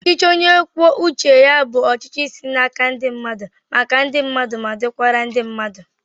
Ọchichi onye kwùó uché ya bụ ọchịchị si n'àkà ndi mmadu, maka ndi mmadu, ma dikwara ndi mmadu